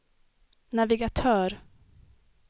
navigatör